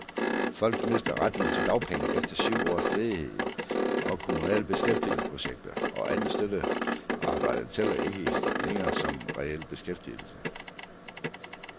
Folk mister retten til dagpenge efter syv års ledighed, og kommunale beskæftigelsesprojekter og andet støttet arbejde tæller ikke længere som reel beskæftigelse.